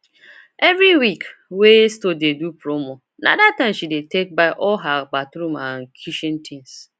every week wey store do promo na that time she dey take buy all her bathroom and kitchen things